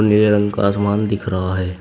नीले रंग का आसमान दिख रहा है।